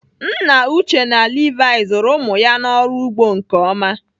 Nna Uche na Levi zụrụ ụmụ ya n'ọrụ ugbo nke ọma.